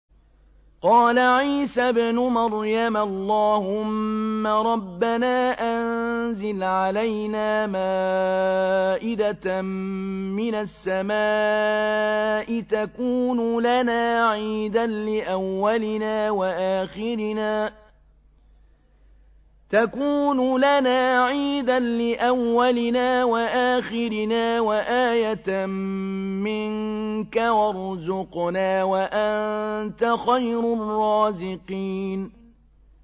قَالَ عِيسَى ابْنُ مَرْيَمَ اللَّهُمَّ رَبَّنَا أَنزِلْ عَلَيْنَا مَائِدَةً مِّنَ السَّمَاءِ تَكُونُ لَنَا عِيدًا لِّأَوَّلِنَا وَآخِرِنَا وَآيَةً مِّنكَ ۖ وَارْزُقْنَا وَأَنتَ خَيْرُ الرَّازِقِينَ